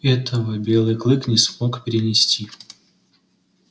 этого белый клык не смог перенести